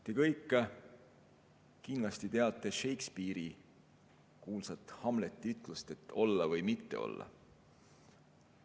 Te kõik kindlasti teate kuulsat Shakespeare'i Hamleti ütlust, et olla või mitte olla.